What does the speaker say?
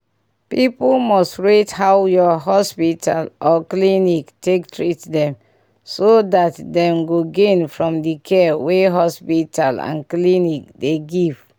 people must rate how your hospital or clinic take treatment them so that dem go gain from the care wey hospital and clinic dey give